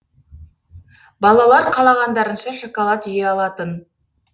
балалар қалағандарынша шоколад жей алатын